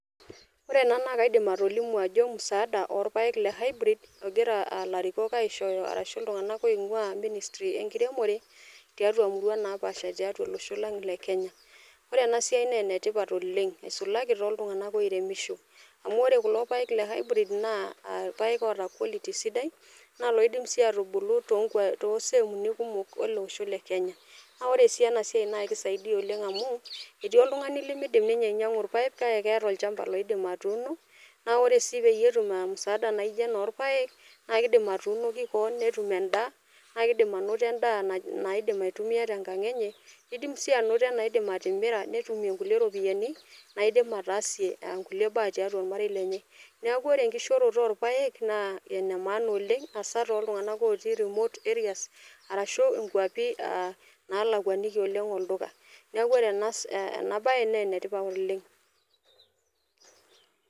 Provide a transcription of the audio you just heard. ore ena naa kaidim atolimu ajo musaada orpayek le hybrid ogira uh larikok aishooyo arashu iltung'anak oing'ua ministry enkiremore tiatua murua napaasha tiatua olosho lang le kenya ore ena siai naa enetipat oleng isulaki toltung'anak oiremisho amu ore kulo payek le hybrid naa uh irpayek oota quality sidai naa loidim sii atubulu tonkua toseemuni kumok ele osho le kenya naa ore sii ena siai naa kisaidia oleng amu etii oltung'ani limidim ninye ainyiang'u irpayek kake keeta olchamba oidim atuuno naa ore sii peyie etum uh msaada naijo ena orpayek naa kidim atuunoki koon netum endaa naa kidim anoto endaa naidim aitumia tenkang enye nidim sii anoto enaidim atimira netumie nkulie ropiyiani naidim ataasie nkulie baa tiatua ormarei lenye neku ore enkishoroto orpayek naa ene maana oleng asaa toltung'anak otii remote areas arashu inkuapi uh nalakuaniki oleng olduka niaku ore ena si ena baye nenetipat oleng.